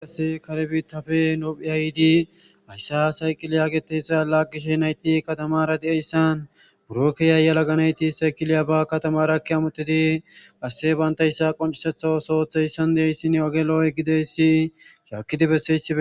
Haysi kare bittape ethopiya yidi haysa gidida asay lagishin Hayti kattamara dizayti biro kehiya yalaga nayti kiliybara eki hamettidi asey bantaysa qonccisidi so otho othizaysan oge Lo'o gididaysi shajidi bessizaysi......